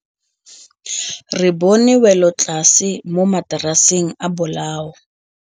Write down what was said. Re bone wêlôtlasê mo mataraseng a bolaô.